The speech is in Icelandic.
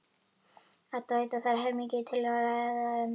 Edda veit að það er heilmikið til í ræðu mömmu.